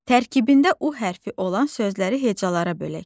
Tərkibində U hərfi olan sözləri hecalara bölək.